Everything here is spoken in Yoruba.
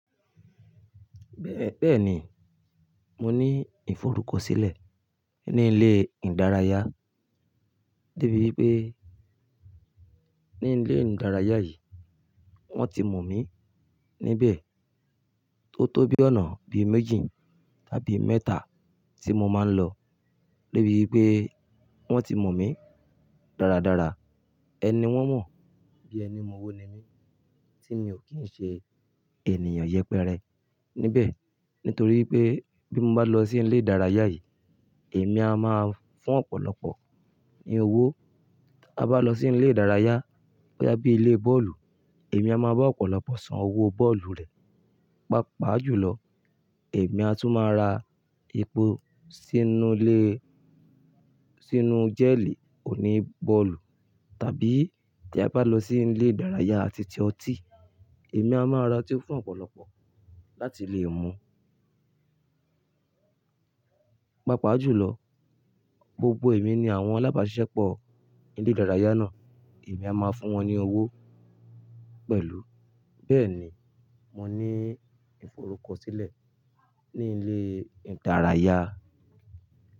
Bẹ́ẹ̀ni, mo ní ìforúkọsílẹ̀ ní ilé ìdárayá, débi wípé ní ilé ìdárayá yìí wọ́n ti mọ̀ mí níbẹ̀ tó tóbi ọ̀nà bíi méjì tàbí mẹ́ta tí mo máa ń lọ. Débi wípé wọ́n ti mọ̀ mí dáradára, ẹni wọ́n mọ̀ bí ẹni mọ́wọ́ ni mí tí mi ò kí ń ṣe ènìyàn yẹpẹrẹ níbẹ̀. Nítorí pé bí mo bá lọ sí ilé ìdárayá yìí, èmi a máa fún ọ̀pọ̀lọpọ̀ ní owó. Tí a bá lọ sí ilé ìdárayá bóyá bí ilé bọ́ọ̀lù, èmi a máa bá ọ̀pọ̀lọpọ̀ san owó bọ́ọ̀lù rẹ̀. Pápa jùlọ, èmi á tún máa ra epo sínú lé, sínú jẹ́ẹ̀lì oní bọ́ọ̀lù tàbí tí a bá lọ sí ilé ìdárayá àti ti ọtí, èmi a máa ra otí fún ọ̀pọ̀lọpọ̀ láti lè mu. Pápa jùlọ, gbogbo èmi ni àwọn alábàṣísèpọ̀ ilé ìdárayá náà èmi a máa fún wọn ní owó pẹ̀lú. Bẹ́ẹ̀ni, mo ní ìforúkọsílẹ̀ ní ilé ìdárayá.